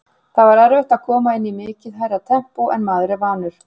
Það var erfitt að koma inn í mikið hærra tempó en maður er vanur.